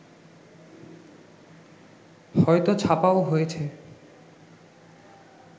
হয়তো ছাপাও হয়েছে